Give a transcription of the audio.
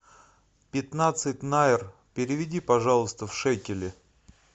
пятнадцать найр переведи пожалуйста в шекели